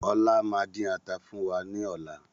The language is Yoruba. Ọlá máa din ata fún wa ní ọ̀la